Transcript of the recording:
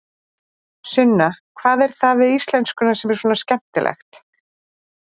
Sunna: Hvað er það við íslenskuna sem er svona skemmtilegt?